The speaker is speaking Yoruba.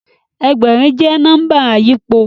Ẹgbẹ̀rin jẹ́ nọ́mbà àyípo